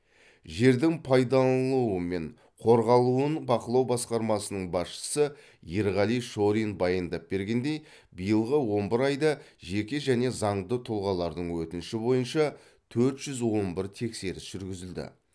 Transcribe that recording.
жердің пайдаланылуы мен қорғалуын бақылау басқармасының басшысы ерғали шорин баяндап бергендей биылғы он бір айда жеке және заңды тұлғалардың өтініші бойынша төрт жүз он бір тексеріс жүргізілді